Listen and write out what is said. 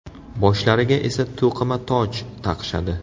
Boshlariga esa to‘qima toj taqishadi.